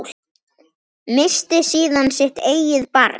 Missti síðan sitt eigið barn.